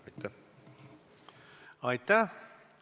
Aitäh!